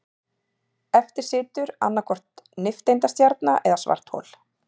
Eftir situr annaðhvort nifteindastjarna eða svarthol.